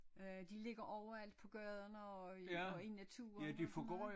Øh de ligger overalt på gaden og i og i naturen og sådan noget